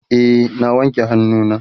e na wanke hannu na